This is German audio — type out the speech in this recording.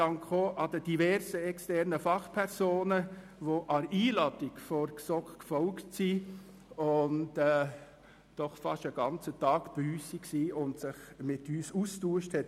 Auch danke ich den diversen externen Fachpersonen, die der Einladung der GSoK gefolgt sind und doch fast einen ganzen Tag bei uns verbracht und sich mit uns ausgetauscht haben.